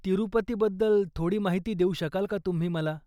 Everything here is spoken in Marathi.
तिरुपतीबद्दल थोडी माहिती देऊ शकाल का तुम्ही मला?